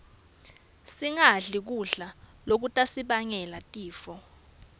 singadli kudla lokutasibangela tifo